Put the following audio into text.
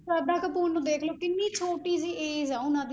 ਸਰਧਾ ਕਪੂਰ ਨੂੰ ਦੇਖ ਲਓ ਕਿੰਨੀ ਛੋਟੀ ਜਿਹੀ age ਹੈ ਉਹਨਾਂ ਦੀ